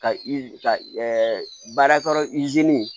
Ka i ka baara